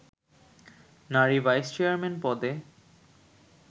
নারী vice chairman পদে